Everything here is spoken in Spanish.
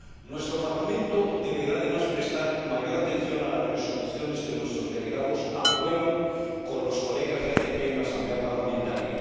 Nuestro Parlamento deberá, además, prestar mayor atención a las resoluciones que nuestros delegados aprueban con los colegas de los países ACP en la Asamblea Parlamentaria.